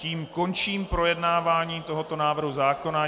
Tím končím projednávání tohoto návrhu zákona.